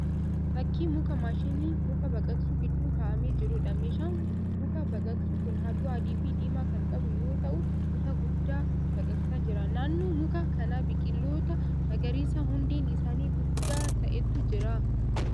Fakkii muka maashinii muka baqaqsu gidduu ka'amee jiruudha. Meeshaan muka baqaqsu kun halluu adii fi diimaa kan qabu yoo ta'u muka guddaa baqaqsaa jira. Naannoo muka kanaa biqiloota magariisa hundeen isaanii guddaa ta'etu jira.